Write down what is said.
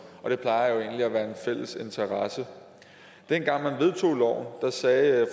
det plejer jo egentlig at være en fælles interesse dengang man vedtog loven sagde